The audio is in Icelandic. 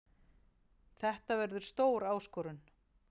Þetta verður stór áskorun.